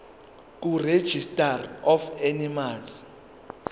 kuregistrar of animals